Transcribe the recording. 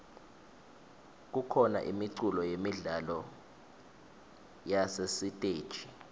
kukhona imiculo yemidlalo yasesiteji